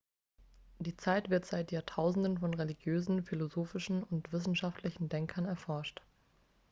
die zeit wird seit jahrtausenden von religiösen philosophischen und wissenschaftlichen denkern erforscht